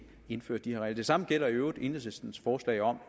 indføre de her regler det samme gælder i øvrigt enhedslistens forslag om